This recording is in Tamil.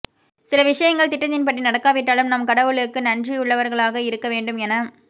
சில விஷயங்கள் திட்டத்தின் படி நடக்காவிட்டாலும் நாம் கடவுளுக்கு நன்றியுள்ளவர்களாக இருக்க வேண்டும் என